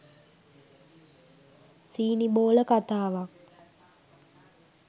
සීනිබෝල කතාවක්.